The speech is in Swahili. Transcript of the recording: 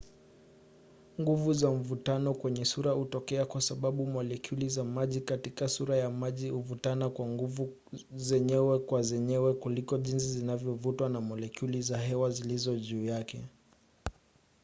nguvu za mvuto kwenye sura hutokea kwa sababu molekyuli za maji katika sura ya maji huvutana kwa nguvu zenyewe kwa zenyewe kuliko jinsi zinavyovutwa na molekyuli za hewa zilizo juu yake